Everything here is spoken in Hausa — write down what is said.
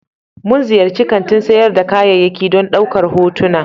Mun ziyarci kantin sayar da kayayyaki don ɗaukar hotuna.